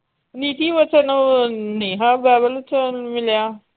ਨੀਤੀ ਵਚਨ ਉਹ ਨੇ ਬਾਈਬਲ ਚ ਮਿਲਿਆ।